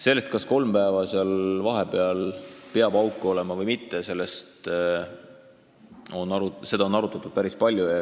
Seda, kas seal vahepeal peab kolm päeva auk olema või mitte, on arutatud päris palju.